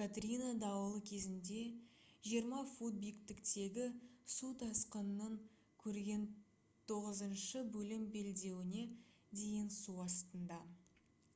катрина дауылы кезінде 20 фут биіктіктегі су тасқынын көрген тоғызыншы бөлім белдеуіне дейін су астында